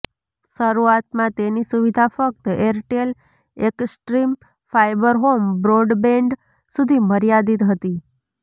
શરૂઆતમાં તેની સુવિધા ફક્ત Airtel Xstream fibre home broadband સુધી મર્યાદિત હતી